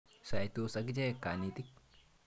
Saitos akichek kanetik.